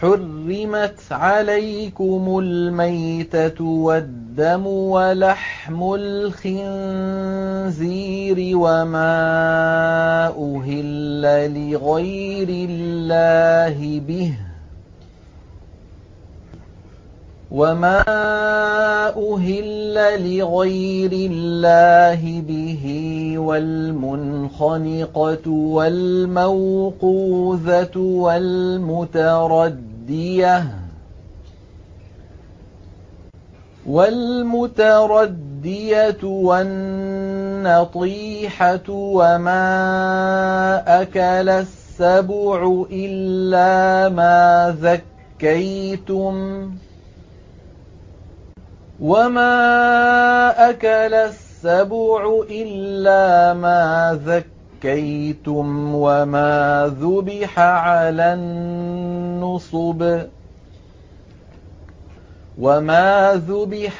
حُرِّمَتْ عَلَيْكُمُ الْمَيْتَةُ وَالدَّمُ وَلَحْمُ الْخِنزِيرِ وَمَا أُهِلَّ لِغَيْرِ اللَّهِ بِهِ وَالْمُنْخَنِقَةُ وَالْمَوْقُوذَةُ وَالْمُتَرَدِّيَةُ وَالنَّطِيحَةُ وَمَا أَكَلَ السَّبُعُ إِلَّا مَا ذَكَّيْتُمْ وَمَا ذُبِحَ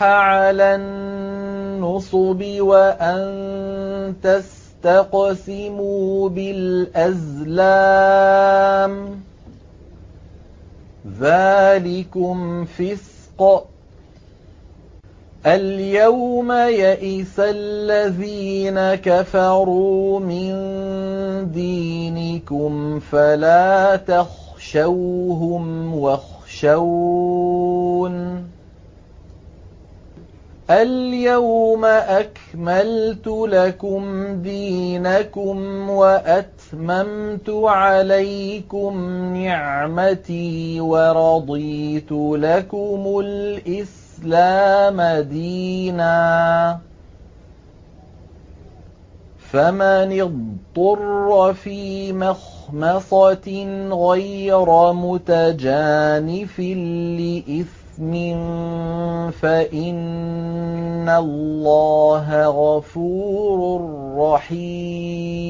عَلَى النُّصُبِ وَأَن تَسْتَقْسِمُوا بِالْأَزْلَامِ ۚ ذَٰلِكُمْ فِسْقٌ ۗ الْيَوْمَ يَئِسَ الَّذِينَ كَفَرُوا مِن دِينِكُمْ فَلَا تَخْشَوْهُمْ وَاخْشَوْنِ ۚ الْيَوْمَ أَكْمَلْتُ لَكُمْ دِينَكُمْ وَأَتْمَمْتُ عَلَيْكُمْ نِعْمَتِي وَرَضِيتُ لَكُمُ الْإِسْلَامَ دِينًا ۚ فَمَنِ اضْطُرَّ فِي مَخْمَصَةٍ غَيْرَ مُتَجَانِفٍ لِّإِثْمٍ ۙ فَإِنَّ اللَّهَ غَفُورٌ رَّحِيمٌ